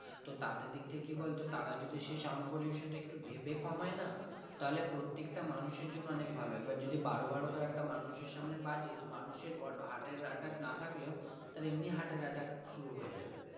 তো তাদের দিক থেকে কি বলতো তারা যদি সে sound pollution টা একটু ভেবে কমায় না তাহলে প্রত্যেকটা মানুষের জন্য অনেক ভালো এবার যদি বারো বারো ধর একটা মানুষের সামনে বাজছে তো মানুষের heart এর attack না থাকলেও তার এমনি heart এর attack শুরু হয়ে যাবে